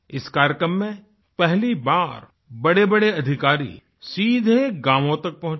इस कार्यक्रम में पहली बार बड़ेबड़े अधिकारी सीधे गांवो तक पहुँचे